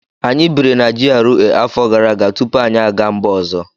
Anyị biri na GRA afọ gara aga tupu anyị aga mba ọzọ